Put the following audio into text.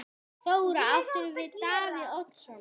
Þóra: Áttirðu við Davíð Oddsson?